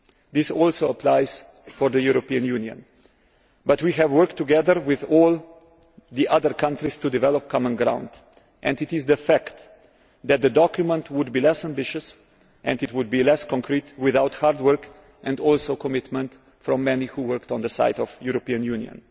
This also applies to the European Union, but we have worked together with all the other countries to develop common ground, and it is a fact that the document would be less ambitious and less concrete without hard work and also commitment from many who worked on the side of the European Union.